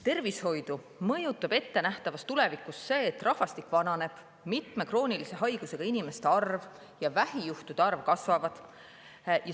Tervishoidu mõjutab ettenähtavas tulevikus see, et rahvastik vananeb, mitme kroonilise haigusega inimeste arv ja vähijuhtude arv kasvavad.